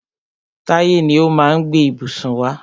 Táyé ni ó má a gbé ìbùsùn wá.